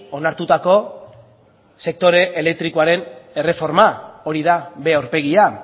onartutako sektore elektrikoaren erreforma hori da b aurpegia